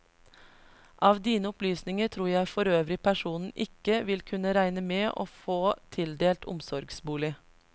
Av dine opplysninger tror jeg forøvrig personen ikke vil kunne regne med å få tildelt omsorgsbolig.